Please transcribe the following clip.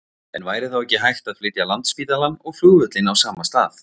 En væri þá ekki hægt að flytja Landspítalann og flugvöllinn á sama stað?